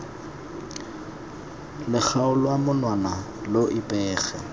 lo kgaola monwana lo ipege